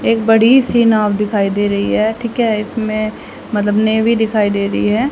एक बड़ी सी नाव दिखाई दे रही है ठीक है। इसमें मतलब नेवी दिखाई दे रही है।